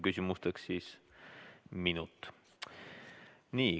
Küsimusteks on üks minut.